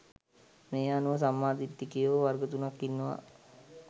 මේ අනුව සම්මා දිට්ඨිකයෝ වර්ග තුනක් ඉන්නවා